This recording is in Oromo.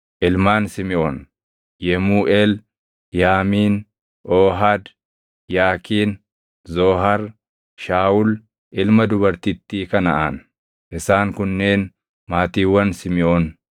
Ilmaan Simiʼoon: Yemuuʼeel, Yaamiin, Oohad, Yaakiin, Zoohar, Shaawul ilma dubartittii Kanaʼaan. Isaan kunneen maatiiwwan Simiʼoon.